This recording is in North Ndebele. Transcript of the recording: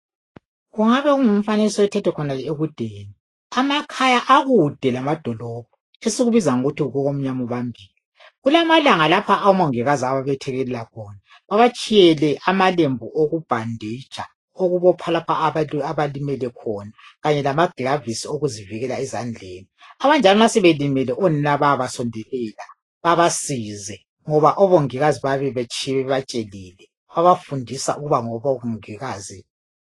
kungabe kungumfanekiso othethwe khonale ekudeni amakhaya akude lamadolobho esikubiza ngokuthi kukomnyama ubambile kulamalanga lapha omongikazi ababethekelela khona babatshiyele amalembu okubhanditsha okubopha lapha abalimele khona kanye lamaglavisis okuzivikela ezandleni abanjalo ma sebelimele onina bayabasondelela babasize ngoba omongikazi bayabe betshiye bebatshelile babafundisa ukuba ngobongikazi